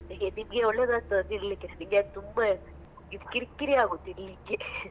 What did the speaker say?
ನಿಮ್ಗೆ ಒಳ್ಳೆದಾಗ್ತದ ತಿನ್ಲಿಕ್ಕೆ? ನನ್ಗೆ ತುಂಬಾ ಇದು ಕಿರ್ಕಿರಿ ಆಗುದು ತಿನ್ಲಿಕ್ಕೆ .